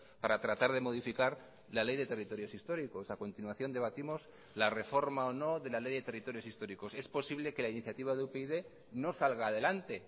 para tratar de modificar la ley de territorios históricos a continuación debatimos la reforma o no de la ley de territorios históricos es posible que la iniciativa de upyd no salga adelante